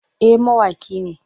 Eh mawaƙi ne.